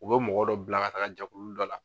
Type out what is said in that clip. U bɛ mɔgɔ dɔ bila ka taa jɛkulu dɔ la.